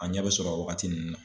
A ɲɛ bɛ sɔrɔ wagati ninnu na.